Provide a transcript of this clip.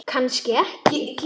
Kannski ekki.